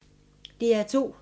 DR2